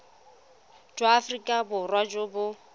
jwa aforika borwa jo bo